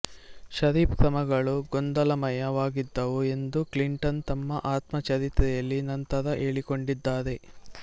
ಷರೀಫ್ ಕ್ರಮಗಳು ಗೊಂದಲಮಯ ವಾಗಿದ್ದವು ಎಂದು ಕ್ಲಿಂಟನ್ ತಮ್ಮ ಆತ್ಮಚರಿತ್ರೆಯಲ್ಲಿ ನಂತರ ಹೇಳಿಕೊಂಡಿದ್ದಾರೆ